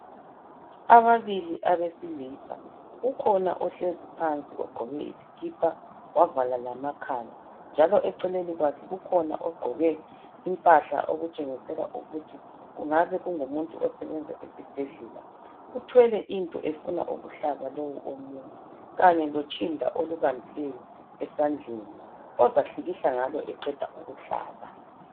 Ababili abesilisa ukhona ohlezi phansi ogqoke isikipa wavala lamakhala njalo eceleni kwakhe ukhona ogqoke impahla okutshengisa ukuthi kungabe kungumuntu osebenza esibhedlela. Uthwele into efuna ukuhlaba lo omunye anye lotshinda olubambileyo esandleni ozahlikihla ngalo eqeda ukuhlaba